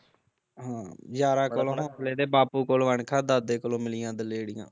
ਹਾਂ ਯਾਰਾਂ ਕੋਲੋਂ ਹੋਸਲੇ ਤੇ ਬਾਪੂ ਕੋਲੋਂ ਅਣਖਾ ਤੇ ਦਾਦੇ ਕੋਲੋਂ ਮਿਲੀਆਂ ਦਲੇਰੀਆਂ